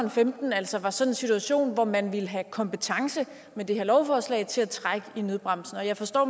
og femten altså var sådan en situation hvor man ville have kompetence med det her lovforslag til at trække i nødbremsen jeg forstår